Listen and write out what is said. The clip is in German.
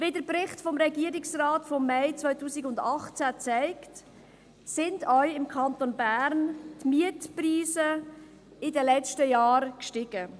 Wie ein Bericht des Regierungsrates vom Mai 2018 zeigt, sind auch im Kanton Bern die Mietpreise in den letzten Jahren gestiegen.